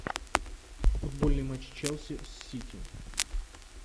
футбольный матч челси с сити